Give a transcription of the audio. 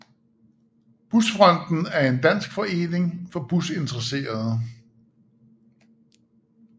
Busfronten er en dansk forening for busintereserede